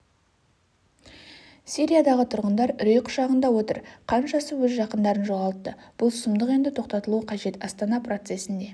сириядағы тұрғындар үрей құшағында отыр қаншасы өз жақындарын жоғалтты бұл сұмдық енді тоқтатылуы қажет астана процесінде